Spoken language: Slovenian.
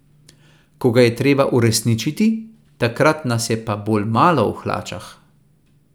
Ko ga je treba uresničiti, takrat nas je pa bolj malo v hlačah.